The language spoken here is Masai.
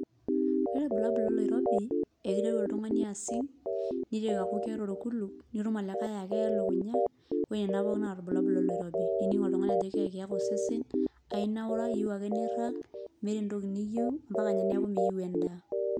Ore ilbulabul loloirobi, ekiteru oltung'ani asing',niteru aku keeta orkuluk, nitum olikae akeya elukunya, ore nena pookin naa ilbulabul loloirobi. Ninig' oltung'ani ajo keekiyaka osesen, ainaura, yieu ake nirrag, meeta entoki niyieu, mpaka nye neeku miyieu endaa.